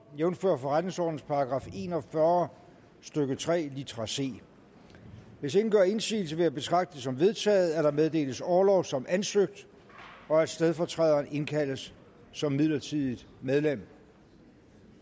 jævnfør forretningsordenens § en og fyrre stykke tre litra c hvis ingen gør indsigelse vil jeg betragte det som vedtaget at der meddeles orlov som ansøgt og at stedfortræderen indkaldes som midlertidigt medlem